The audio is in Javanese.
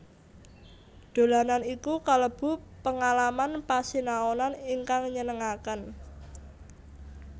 Dolanan iku kalebu pengalaman pasinaonan ingkang nyenengaken